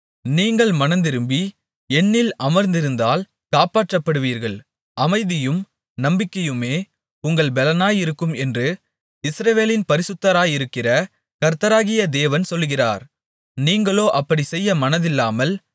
நீங்கள் மனந்திரும்பி என்னில் அமர்ந்திருந்தால் காப்பாற்றப்படுவீர்கள் அமைதியும் நம்பிக்கையுமே உங்கள் பெலனாயிருக்கும் என்று இஸ்ரவேலின் பரிசுத்தராயிருக்கிற கர்த்தராகிய தேவன் சொல்கிறார் நீங்களோ அப்படிச் செய்ய மனதில்லாமல்